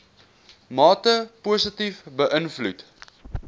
mate positief beïnvloed